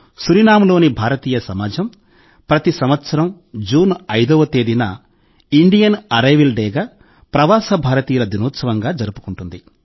సూరినామ్లోని భారతీయ సమాజం ప్రతి సంవత్సరం జూన్ 5వ తేదీని ఇండియన్ అరైవల్ డేగా ప్రవాస భారతీయుల దినోత్సవంగా జరుపుకుంటుంది